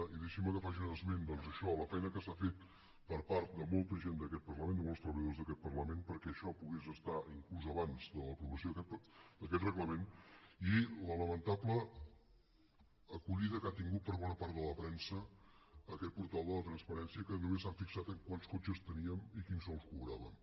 i deixinme que faci un esment doncs d’això la feina que s’ha fet per part de molta gent d’aquest parlament de molts treballadors d’aquest parlament perquè això pogués estar inclús abans de l’aprovació d’aquest reglament i la lamentable acollida que ha tingut per bona part de la premsa aquest portal de la transparència que només s’han fixat en quants cotxes teníem i quins sous cobràvem